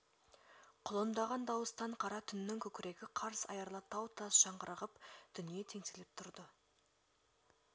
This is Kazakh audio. құлындаған дауыстан қара түннің көкірегі қарс айрыла тау-тас жаңғырығып дүние теңселіп тұрды